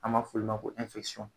An b'a f'olu ma ko